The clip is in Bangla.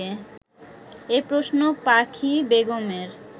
এ প্রশ্ন পাখি বেগমের